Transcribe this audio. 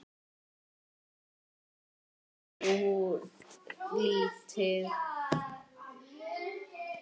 Úr því varð þó lítið.